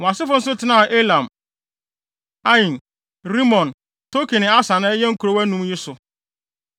Wɔn asefo nso tenaa Etam, Ain, Rimon, Token ne Asan a ɛyɛ nkurow anum yi so,